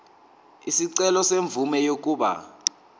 isicelo semvume yokuba